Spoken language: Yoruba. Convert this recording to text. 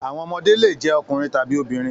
Àwọn ọmọdé le jẹ́ ọkùnrin tàbí obìnrin.